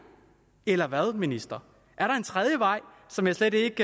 eller hvad ministeren er der en tredje vej som jeg slet ikke